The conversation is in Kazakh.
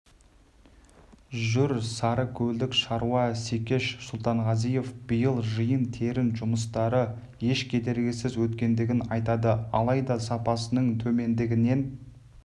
жүр сарыкөлдік шаруа секеш сұлтанғазинов биыл жиын-терін жұмыстары еш кедергісіз өткендігін айтады алайда сапасының төмендігінен